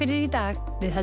í dag heldur